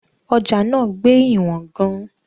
Ọjà náà gbé ìwọ̀n gan-an.